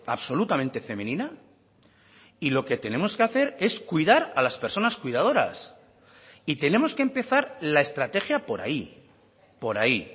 absolutamente femenina y lo que tenemos que hacer es cuidar a las personas cuidadoras y tenemos que empezar la estrategia por ahí por ahí